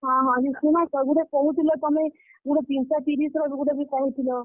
ହଁ ହଁ, ଯେ ସୁନତ, ଗୁଟେ କହୁଥିଲ ତମେ, ଗୁଟେ, ତିନ୍ ଶ ତିରିଶ୍ ର ବି ଗୁଟେ ବି କହିଥିଲ।